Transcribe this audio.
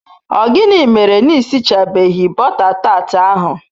O gini mere n'isichabeghi bota tat ahu